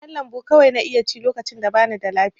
Kayan lambu kawai na iya ci lokacin da bana da lafiya.